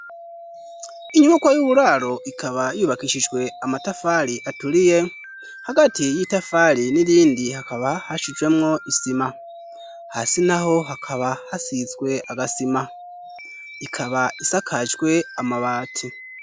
inyubako y'uburaro ikaba yubakishijwe amatafari aturiye hagati y'itafari n'irindi hakaba hashijwemwo isima hasi naho hakaba hasizwe agasima ikaba isakajwe amabati